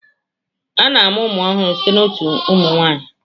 A na-amụ ụmụ ọhụrụ site na otu nwanyi.